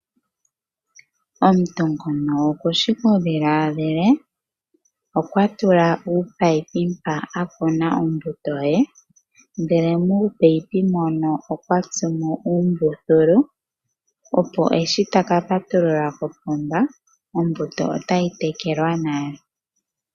Omuntu ngoka okushi okudhiladhila. Okwa tula uupayipi mpoka a kuna ombuto ye, muupayipi moka okwa tsumo uumbululu, opo shi ta ka patulula kopomba ombuto otayi tekelwa nale.